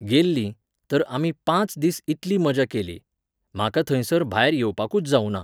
गेल्लीं, तर आमी पांच दीस इतली मजा केली. म्हाका थंयसर भायर येवपाकूच जावुंना.